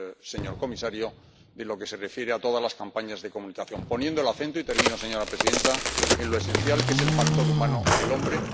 señor comisario, y en lo que se refiere a todas las campañas de comunicación, poniendo el acento ―y termino, señora presidenta― en lo esencial, que es el factor humano, el hombre.